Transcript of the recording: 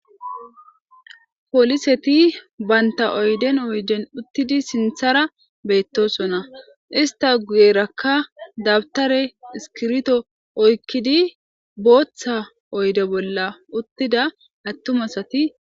poliseti baynta oyden oyjen uttidi sinthara beettosonna ista guyerakka dabtare iskirto oykkidi booththa oyde bolla uttida attumasati